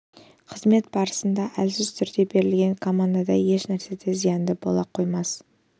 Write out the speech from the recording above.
қызмет барысында қарамағындағыларға әлсіз түрде берілген командадай ешнәрсе де зиянды бола қоймас